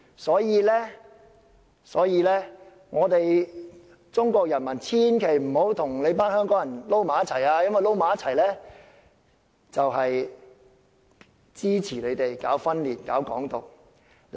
所以，中國人民千萬不要跟香港人混在一起，因為混在一起就是支持搞分裂、搞"港獨"。